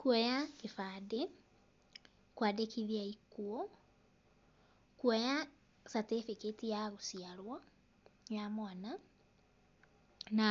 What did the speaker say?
Kuoya gĩbandĩ, kwandĩkithia ikuũ, kuoya certificate ya gũciarwo ya mwana, na